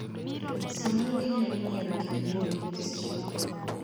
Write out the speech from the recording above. Samoro ginyalo nyiewo gik nindo gi pes chadi.